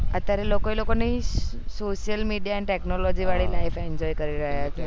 અત્યારે લોકો લોકો ની social media અને technology વાળી life enjoy કરી રહ્યા છે